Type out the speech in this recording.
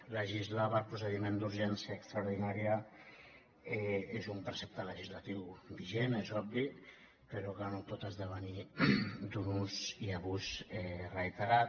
legislar per procediment d’urgència extraordinària és un precepte legislatiu vigent és obvi però que no pot esdevenir d’un ús i abús reiterat